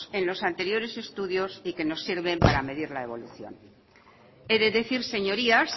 en los anteriores estudios y que nos sirven para medir la evolución he de decir señorías